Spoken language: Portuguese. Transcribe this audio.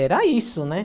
Era isso, né?